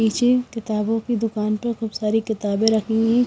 पीछे किताबों की दुकान पर खूब सारी किताबें रखी हुई--